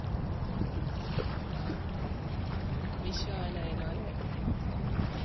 ആഹ് വിഷു ആവാൻ ആയല്ലോ അല്ലേ